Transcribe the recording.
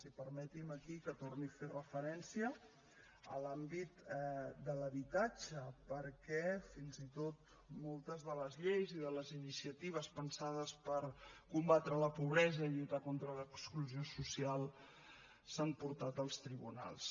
i permeti’m aquí que torni a fer referència a l’àmbit de l’habitatge perquè fins i tot moltes de les lleis i de les iniciatives pensades per combatre la pobresa i lluitar contra l’exclusió social s’han portat als tribunals